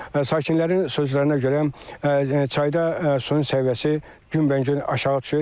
Sakinlərin sözlərinə görə çayda suyun səviyyəsi günbəgün aşağı düşür.